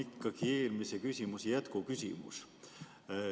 Mul on eelmise küsimuse jätkuküsimus.